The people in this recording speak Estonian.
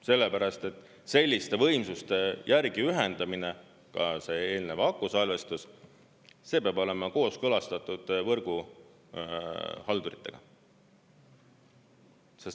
Sellepärast, et selliste võimsuste järgi ühendamine, ka see eelnev akusalvestus, peab olema kooskõlastatud võrguhalduritega.